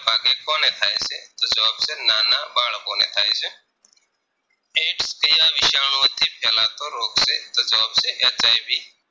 ફેલાતો રોગ છે તો જવાબ છે HIV